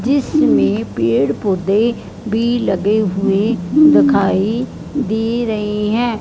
जिसमें पेड़ पौधे भी लगे हुए देखाई दे रहे हैं।